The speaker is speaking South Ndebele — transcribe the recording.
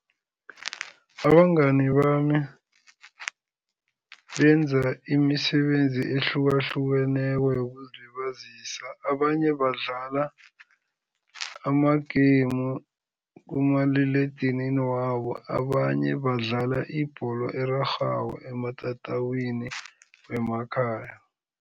Abangani bami benza imisebenzi ehlukahlukeneko yokuzilibazisa. Abanye badlala ama-game kumaliledinini wabo, abanye badlala ibholo erarhwako ematatawini wemakhaya.